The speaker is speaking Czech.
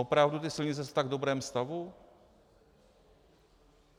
Opravdu ty silnice jsou v tak dobrém stavu?